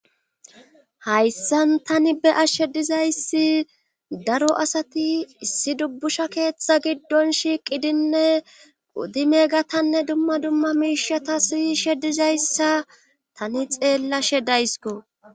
Hayssan tani be'ashshe dizayssi daro asati issi dubbusha keeththa giddon shiiqidinne qudi meegatanne dumma dumma miishata si she dizayssa tani xeellashe daysiko.